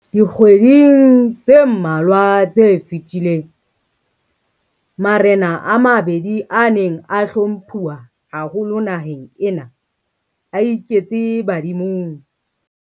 Dikgweding tse mmalwa tse fetileng, marena a mabedi a neng a hlomphuwa haholo naheng ena a iketse badimong.